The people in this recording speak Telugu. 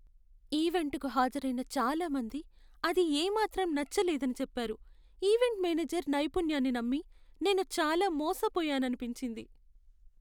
ఈవెంటుకు హాజరైన చాలా మంది అది ఏమాత్రం నచ్చలేదని చెప్పారు, ఈవెంట్ మేనేజర్ నైపుణ్యాన్ని నమ్మి నేను చాలా మోసపోయాననిపించింది.